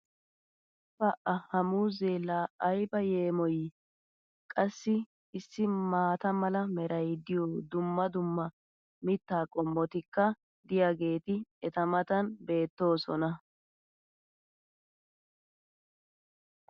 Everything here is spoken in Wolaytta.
pa ha muuzzee laa ayba yeemmoyii! qassi issi maata mala meray diyo dumma dumma mitaa qommotikka diyaageeti eta matan beetoosona.